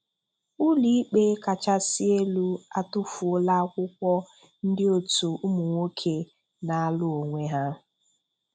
Ụlọikpe kachasị elu atufuola akwụkwọ ndị otu ụmụnwoke na-alụ onwe ha.